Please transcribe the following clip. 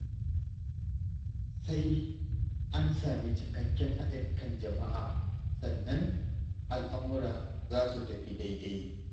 Sai an sami cikakken haɗin kan jama'a, sannan al'amura za su tafi daidai.